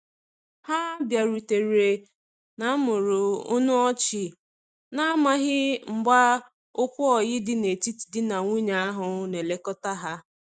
Ha biarutere na mụrụ ọnụ ọchi, na amaghi mgba okwu oyi di na etiti di na nwunye ahu na elekota ha